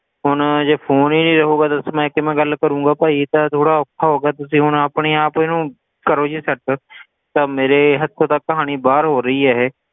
ਹੁਣ ਜੇ phone ਹੀ ਨੀ ਰਹੇਗਾ ਦੱਸ ਮੈਂ ਕਿਵੇਂ ਗੱਲ ਕਰਾਂਗਾ ਭਾਈ ਇਹ ਤਾਂ ਥੋੜ੍ਹਾ ਔਖਾ ਹੋ ਗਿਆ ਤੁਸੀ ਹੁਣ ਆਪਣੇ ਆਪ ਇਹਨੂੰ ਕਰੋ ਜੀ set ਅਹ ਮੇਰੇ ਹੱਥੋਂ ਤਾਂ ਕਹਾਣੀ ਬਾਹਰ ਹੋ ਰਹੀ ਆ ਇਹ